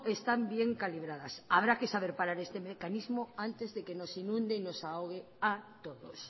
están bien calibradas habrá que saber parar este mecanismo antes de que nos inunde y nos ahogue a todos